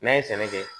N'a ye sɛnɛ kɛ